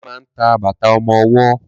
Ṣe ma ń ta bàtà ọmọwọ́?